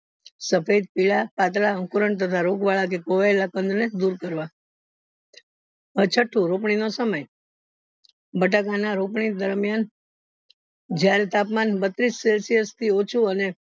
સફેદ પીળા પતલા અકુરણ તથા રોગવાળા કે ખવાયેલા કંદ ને દુર કરવા છઠ્ઠું રોપણીનો સમય બટાકામાં રોપણી દરમિયાન જયારે તાપમાન બત્રીસ celsius થી ઓછુ અને